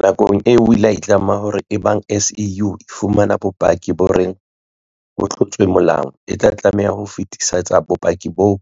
Nakong eo o ile a itlama ka hore eba ng SIU e fumana bopaki bo reng ho tlotswe molao, e tla tlameha ho fetisetsa bopaki boo